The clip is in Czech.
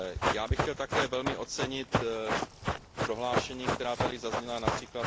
Já bych chtěl také velmi ocenit prohlášení, která tady zazněla, např.